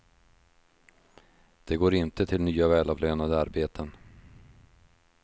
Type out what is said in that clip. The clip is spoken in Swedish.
De går inte till nya välavlönade arbeten.